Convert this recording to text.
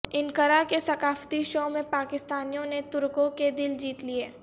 Ankara کے ثقافتی show میں پاکستانیوں نے ترکوں کے دل جیت لیے